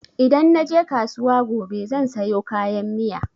Idan naje kasuwa gobe zan sayo kayan miya.